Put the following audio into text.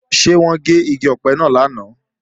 Ṣé wọ́n gé igi ọ̀pẹ náà lánàá?